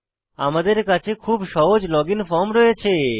আমাদের কাছে খুব সহজ লগইন ফর্ম রয়েছে